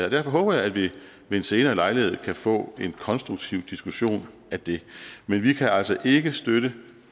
og derfor håber jeg at vi ved en senere lejlighed kan få en konstruktiv diskussion af det men vi kan altså ikke støtte